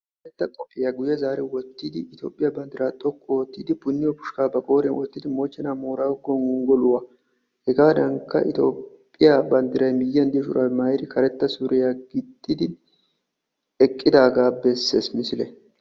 karetta qophiya guye zaari wottidi toophiya banddiraa hashiyan wottidi mochenaa boorago gonggoluwa deriya bolan eqqidi hegaadankka itophiya banddiray miyiyan diyo shuraabbiya maayidi karetta surya gixxidi eqqidaagaa besees misilee.